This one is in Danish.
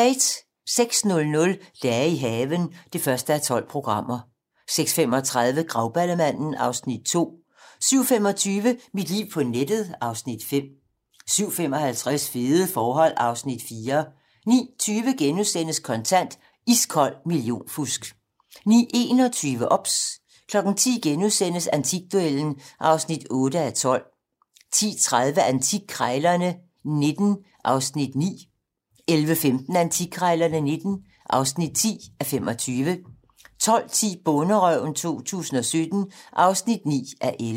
06:00: Dage i haven (1:12) 06:35: Grauballemanden (Afs. 2) 07:25: Mit liv på nettet (Afs. 5) 07:55: Fede forhold (Afs. 4) 09:20: Kontant: Iskold millionfusk * 09:21: OBS 10:00: Antikduellen (8:12)* 10:30: Antikkrejlerne XIX (9:25) 11:15: Antikkrejlerne XIX (10:25) 12:10: Bonderøven 2017 (9:11)